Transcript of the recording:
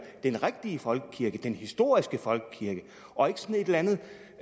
den rigtige folkekirke den historiske folkekirke og ikke sådan et eller andet